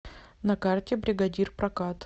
на карте бригадир прокат